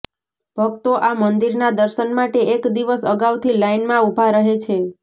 ભક્તો આ મંદિરના દર્શન માટે એક દિવસ અગાઉથી લાઇનમાં ઉભા રહે છે